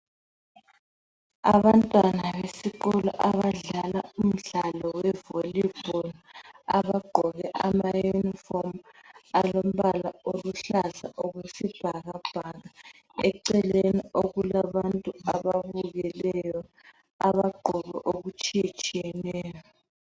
Abantwana besikolo abadlala umdlalo wevoli bholu, abagqoke amayunifomu alombala oluhlaza okwesibhakabhaka. Eceleni okulabantu ababukeleyo abagqoke okutshiyetshiyeneyo.